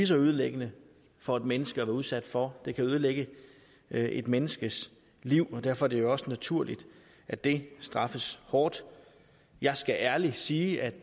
så ødelæggende for et menneske at være udsat for det kan ødelægge et menneskes liv og derfor er det jo også naturligt at det straffes hårdt jeg skal ærligt sige at